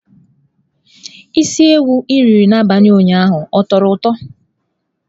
Isi ewu i riri n'abalị ụnyaahụ ọ tọrọ ụtọ?